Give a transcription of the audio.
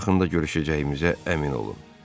Bu yaxında görüşəcəyimizə əmin olun.